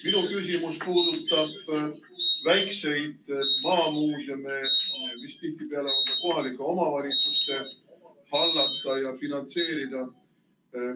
Minu küsimus puudutab väikseid maamuuseume, mis tihtipeale on ka kohalike omavalitsuste hallata ja finantseerida.